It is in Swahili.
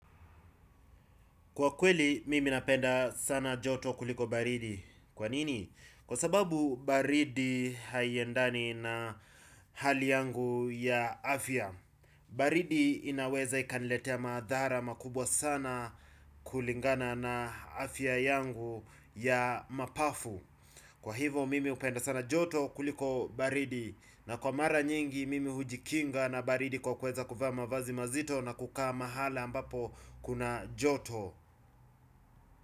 Kwa kweli, mimi napenda sana joto kuliko baridi. Kwa nini? Kwa sababu baridi haiendani na hali yangu ya afya. Baridi inaweza ikaniletea madhara makubwa sana kulingana na afya yangu ya mapafu. Kwa hivyo, mimi hupenda sana joto kuliko baridi. Na kwa mara nyingi, mimi hujikinga na baridi kwa kuweza kuvaa mavazi mazito na kukaa mahali ambapo kuna joto.